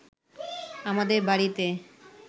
আমাদের বাড়িতে